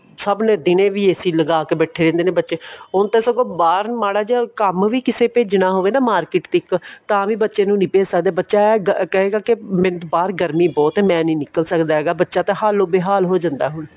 ਸਨ ਨੇ ਦਿਨੇ ਵੀ AC ਲਗਾ ਕੇ ਬੈਠੇ ਰਹਿੰਦੇ ਨੇ ਬੱਚੇ ਹੁਣ ਤਾਂ ਸਗੋਂ ਬਾਹਰ ਮਾੜਾ ਜਾ ਕੰਮ ਵੀ ਕਿਸੇ ਭੇਜਣਾ ਹੋਵੇ market ਤੱਕ ਤਾਵੀਂ ਬੱਚੇ ਨੂੰ ਭੇਜ ਨਹੀਂ ਸਕਦੇ ਬੱਚਾ ਕਹੇਗਾ ਬਾਹਰ ਗਰਮੀ ਬਹੁਤ ਹੈ ਮੈਂ ਨਹੀਂ ਨਿਕਲ ਸਕਦਾ ਬੱਚਾ ਤਾਂ ਹਾਲੋ ਬੇਹਾਲ ਹੋ ਜਾਂਦਾ